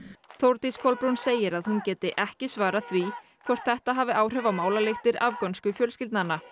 Þórdís Kolbrún segir að hún geti ekki svarað því hvort þetta hafi áhrif á málalyktir afgönsku fjölskyldnanna